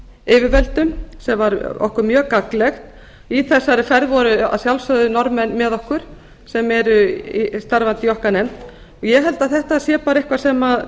yfirvöldum sem var okkur mjög gagnlegt í þessari ferð voru að sjálfsögðu norðmenn með okkur sem eru starfandi í okkar nefnd ég held að þetta sé bara eitthvað sem